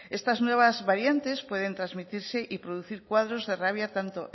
estas nuevas variantes pueden transmitirse y producir cuadros de rabia tanto